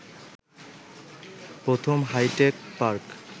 প্রথম hi tech park